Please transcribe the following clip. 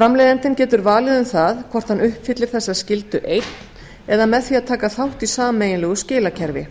framleiðandinn getur valið um það hvort hann uppfyllir þessa skyldu einn eða með því að taka þátt í sameiginlegu skilakerfi